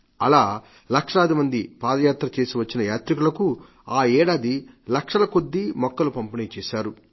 అలా లక్షలాది మంది పాదయాత్ర చేసివచ్చిన యాత్రికులకు ఈ ఏడాది లక్షలకొద్దీ మొక్కలు పంపిణీ చేశారు